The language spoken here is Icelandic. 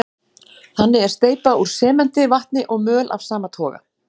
Þannig er steypa úr sementi, vatni og möl af sama toga.